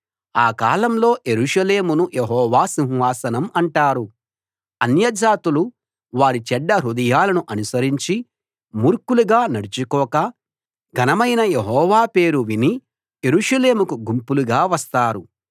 ఆ కాలంలో యెరూషలేమును యెహోవా సింహాసనం అంటారు అన్యజాతులు వారి చెడ్డ హృదయాలను అనుసరించి మూర్ఖులుగా నడుచుకోక ఘనమైన యెహోవా పేరు విని యెరూషలేముకు గుంపులుగా వస్తారు